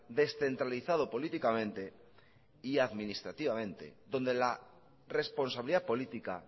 descentralizado políticamente y administrativamente donde la responsabilidad política